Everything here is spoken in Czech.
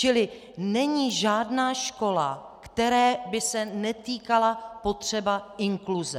Čili není žádná škola, které by se netýkala potřeba inkluze.